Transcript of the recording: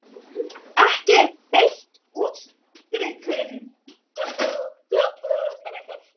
Ekki er beitt útstrikun.